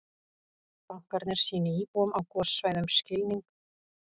Bankarnir sýni íbúum á gossvæðum skilning